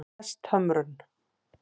Hesthömrum